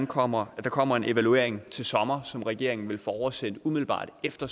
kommer kommer en evaluering til sommer som regeringen vil få oversendt umiddelbart efter